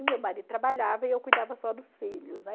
e meu marido trabalhava e eu cuidava só dos filhos, né?